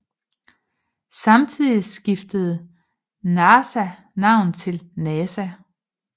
Samtidig skiftede NACA navn til NASA